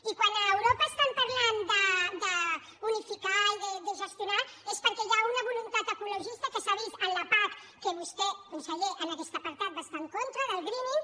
i quan a europa estan parlant d’unificar i de gestionar és perquè hi ha una voluntat ecologista que s’ha vist en la pac que vostè conseller en aquest apartat va estar en contra del greening